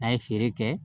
A ye feere kɛ